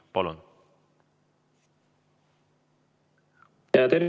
Palun!